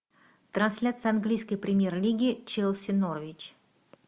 трансляция английской премьер лиги челси норвич